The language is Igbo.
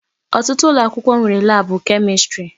Ọtụtụ ụlọakwụkwọ nwere laabụ Kemistri.